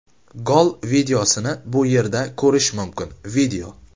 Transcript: Gol videosini bu yerda ko‘rish mumkin video .